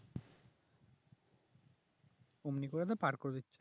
ওমনি করে তো পার করে দিচ্ছে